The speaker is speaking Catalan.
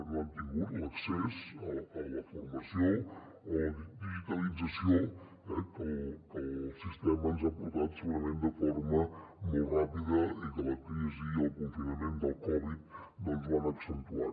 no han tingut l’accés a la formació o a la digitalització eh que el sistema ens ha portat segurament de forma molt ràpida i que la crisi i el confinament del covid doncs ho han accentuat